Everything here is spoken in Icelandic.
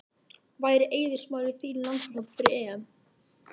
Væri Eiður Smári í þínum landsliðshóp fyrir EM?